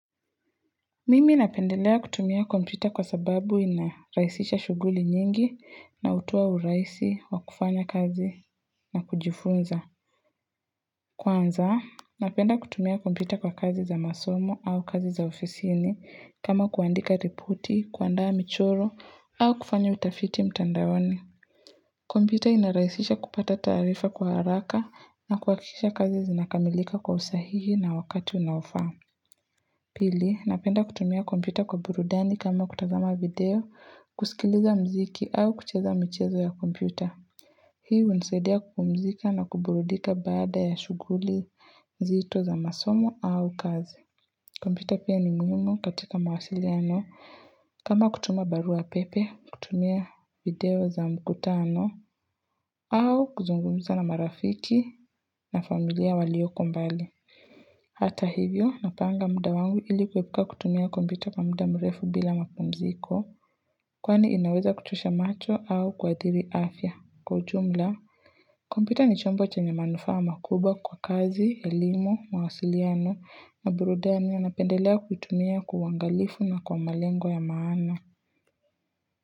Mimi napendelea kutumia kompyuta kwa sababu inarahisisha shughuli nyingi na hutoa urahisi wa kufanya kazi na kujifunza. Kwanza, napenda kutumia kompyuta kwa kazi za masomo au kazi za ofisini kama kuandika ripoti, kuandaa michoro au kufanya utafiti mtandaoni. Kompyuta inarahisisha kupata taarifa kwa haraka na kuhakikisha kazi zinakamilika kwa usahihi na wakati unaofaa. Pili, napenda kutumia kompita kwa burudani kama kutazama video, kusikiliza mziki au kucheza mchezo ya kompyuta. Hii hunisaidia kupumzika na kuburudika baada ya shughuli zito za masomo au kazi. Kompyuta pia ni muhimu katika mawasiliano, kama kutuma barua pepe, kutumia video za mkutano au kuzungumza na marafiki na familia walioko mbali. Hata hivyo napanga muda wangu ili kuepuka kutumia kompyuta kwa mda mrefu bila mapumziko Kwani inaweza kuchosha macho au kuadhiri afya kwa ujumla kompyuta ni chombo chenye manufaa makubwa kwa kazi, elimu, mawasiliano na burudani napendelea kutumia kwa uangalifu na kwa malengo ya maana.